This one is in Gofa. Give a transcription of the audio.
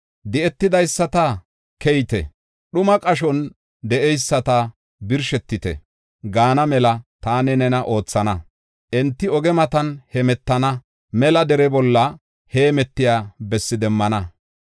Di7etidaysata, ‘Keyite!’ dhuma qashon de7eyisata, ‘Birshetite!’ gaana mela taani nena oothana. Enti oge matan heemetana; mela dere bolla heemetiya bessi demmana.